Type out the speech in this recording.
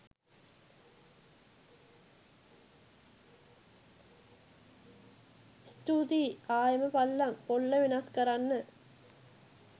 ස්තුතියි! ආයෙම පල්ලං පොල්ල වෙනස් කරන්න